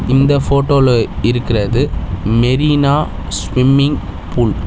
இந்த ஃபோட்டோல இருக்றது மெரினா ஸ்விம்மிங் ஃபூல் .